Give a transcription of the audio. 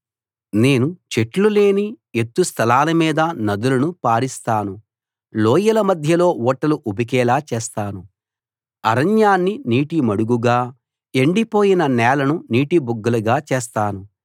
నేను చెట్లు లేని ఎత్తు స్థలాల మీద నదులను పారిస్తాను లోయల మధ్యలో ఊటలు ఉబికేలా చేస్తాను అరణ్యాన్ని నీటి మడుగుగా ఎండిపోయిన నేలను నీటిబుగ్గలుగా చేస్తాను